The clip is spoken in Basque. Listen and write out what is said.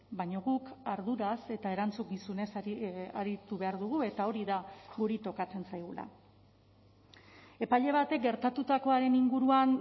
baina guk arduraz eta erantzukizunez aritu behar dugu eta hori da guri tokatzen zaigula epaile batek gertatutakoaren inguruan